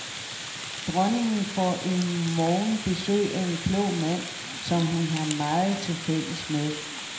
Dronningen får i morgen besøg af en klog mand, som hun har meget til fælles med.